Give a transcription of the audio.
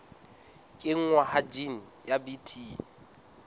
kenngwa ha jine ya bt